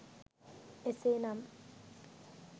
එසේ නම්